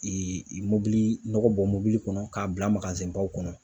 mobili nɔgɔ bɔ mobili kɔnɔ k'a bila kɔnɔ.